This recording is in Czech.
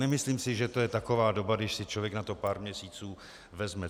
Nemyslím si, že je to taková doba, když si člověk na to pár měsíců vezme.